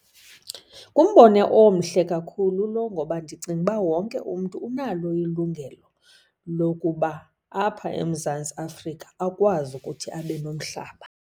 Ngumbono omhle kakhulu lo ngoba ndicinga uba wonke umntu unalo ilungelo lokuba apha eMzantsi Afrika akwazi ukuthi abe nomhlaba.